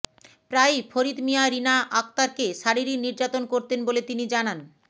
প্রায়ই ফরিদ মিয়া রীনা আক্তারকে শারীরিক নির্যাতন করতেন বলে তিনি জানান